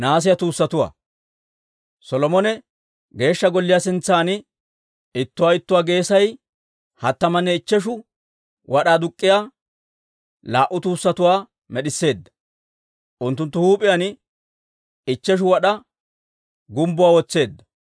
Solomone Geeshsha Golliyaa sintsan ittuwaa ittuwaa geesay hattamanne ichcheshu wad'aa aduk'k'iyaa laa"u tuussatuwaa med'isseedda, unttunttu huup'iyaan ichcheshu wad'aa gumbbuwaa wotseedda.